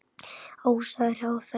Ása er hjá þeim.